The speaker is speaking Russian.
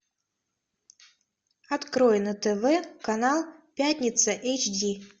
открой на тв канал пятница эйч ди